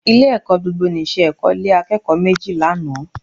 Ilé-ẹ̀kọ́ gbogbonìṣe Èkó lé akẹ́kọ̀ọ́ méjì lánàá